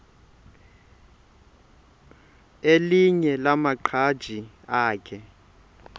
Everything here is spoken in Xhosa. elinye lamaqhaji akhe